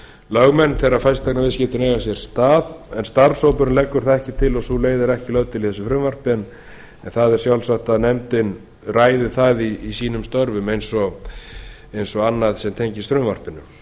lögmenn þegar fasteignaviðskiptin eiga sér stað en starfshópurinn leggur það ekki til og sú leið er ekki lögð til í þessu frumvarpi en það er sjálfsagt að nefndin ræði það í sínum störfum eins og annað sem tengist frumvarpinu